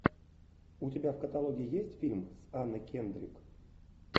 у тебя в каталоге есть фильм с анной кендрик